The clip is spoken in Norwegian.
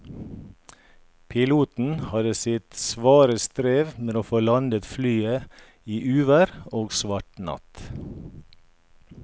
Piloten hadde sitt svare strev med å få landet flyet i uvær og svart natt.